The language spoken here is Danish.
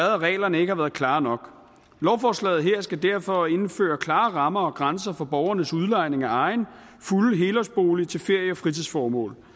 at reglerne ikke har været klare nok lovforslaget her skal derfor indføre klare rammer og grænser for borgernes udlejning af egen fulde helårsbolig til ferie og fritidsformål